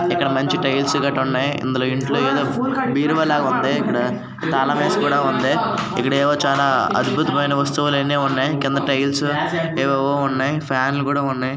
ఇక్కడ మంచి టైల్స్ గిట్టా ఉన్నాయి ఇందులో ఇంట్లో ఏదో బీరువాలాగా ఉంది ఇక్కడ తాళం వేసి కూడా ఉంది ఇక్కడ ఏమో చానా అద్భుతమైన వస్తువులన్నీ ఉన్నాయి కింద టైల్స్ ఏవేవో ఉన్నాయి ఫ్యాన్ లు కూడా ఉన్నాయి.